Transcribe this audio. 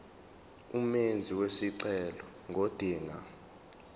umenzi wesicelo ngodinga